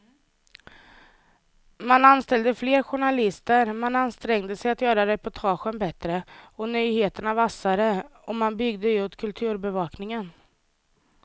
Man anställde fler journalister, man ansträngde sig att göra reportagen bättre och nyheterna vassare och man byggde ut kulturbevakningen.